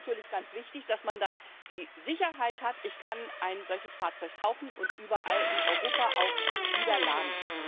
Das ist natürlich ganz wichtig, dass man dann die Sicherheit hat, ich kann ein solches Fahrzeug kaufen und überall in Europa auch wieder laden.